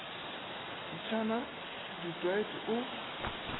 mtšna s du toit o